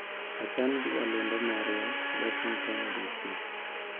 Ochan gi jalendo marwa, Washington, DC.